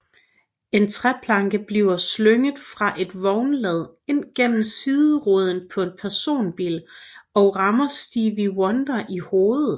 En træplanke blev slynget fra et vognlad ind gennem sideruden på en personbil og ramte Stevie Wonder i hovedet